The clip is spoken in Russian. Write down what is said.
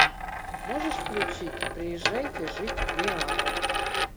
можешь включить приезжайте жить в неаполь